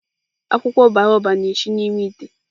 Akwụkwọ baobab na-esi n'ime ite.